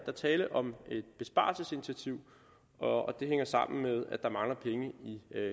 er tale om et besparelsesinitiativ og det hænger sammen med at der mangler penge i